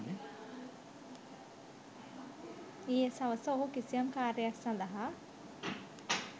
ඊයේ සවස ඔහු කිසියම් කාර්යයක් සඳහා